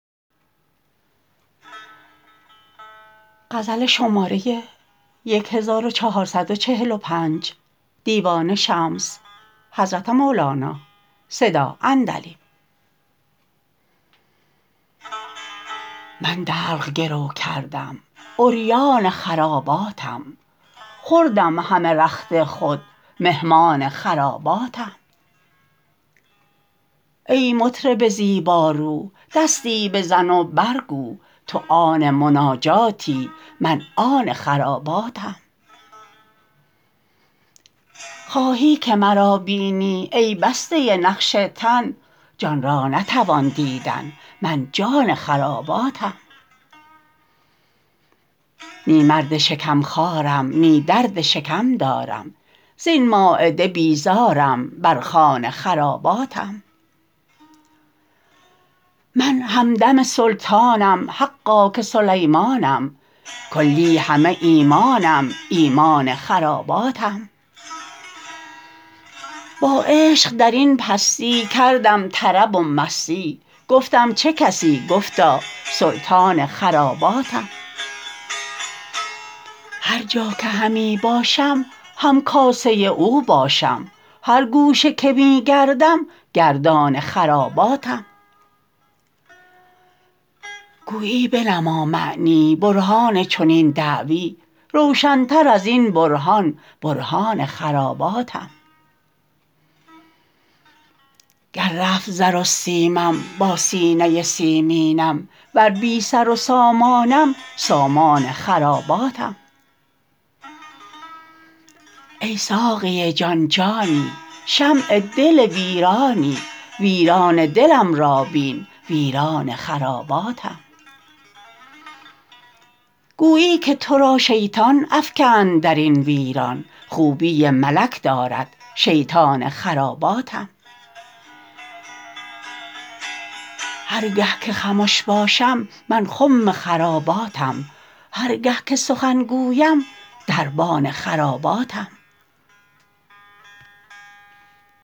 من دلق گرو کردم عریان خراباتم خوردم همه رخت خود مهمان خراباتم ای مطرب زیبارو دستی بزن و برگو تو آن مناجاتی من آن خراباتم خواهی که مرا بینی ای بسته نقش تن جان را نتوان دیدن من جان خراباتم نی مرد شکم خوارم نی درد شکم دارم زین مایده بیزارم بر خوان خراباتم من همدم سلطانم حقا که سلیمانم کلی همه ایمانم ایمان خراباتم با عشق در این پستی کردم طرب و مستی گفتم چه کسی گفتا سلطان خراباتم هر جا که همی باشم همکاسه اوباشم هر گوشه که می گردم گردان خراباتم گویی بنما معنی برهان چنین دعوی روشنتر از این برهان برهان خراباتم گر رفت زر و سیمم با سینه سیمینم ور بی سر و سامانم سامان خراباتم ای ساقی جان جانی شمع دل ویرانی ویران دلم را بین ویران خراباتم گویی که تو را شیطان افکند در این ویران خوبی ملک دارد شیطان خراباتم هر گه که خمش باشم من خم خراباتم هر گه که سخن گویم دربان خراباتم